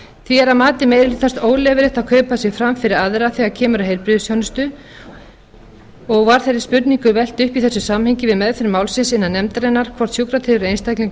því er að mati meiri hlutans óleyfilegt að kaupa sig fram fyrir aðra þegar kemur að heilbrigðisþjónustu og var þeirri spurningu velt upp í þessu samhengi við meðferð málsins innan nefndarinnar hvort sjúkratryggður einstaklingur